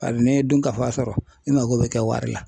Bari n'i ye dunkafa sɔrɔ i mago bɛ kɛ wari la.